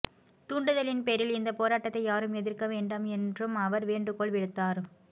தூண்டுதலின் பேரில் இந்த போராட்டத்தை யாரும் எதிர்க்க வேண்டாம் என்றும் அவர் வேண்டுகோள் விடுத்தார்